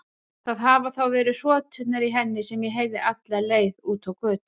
Það hafa þá verið hroturnar í henni sem ég heyrði alla leið út á götu.